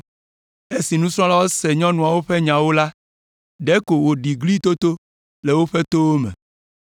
Esi nusrɔ̃lawo se nyɔnuawo ƒe nyawo la, ɖeko wòɖi glitoto le woƒe towo me.